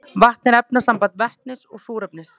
vatn er efnasamband vetnis og súrefnis